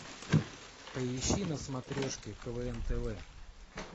поищи на смотрешке квн тв